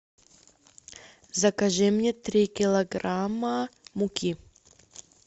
закажи мне три килограмма муки